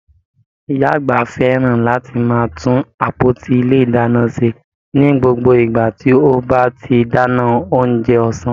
Ìyá àgbà fẹ́ràn láti máa tún àpótí ilé ìdáná ṣe ní gbogbo ìgbà tí ó bá ti dáná oúnjẹ ọ̀sán.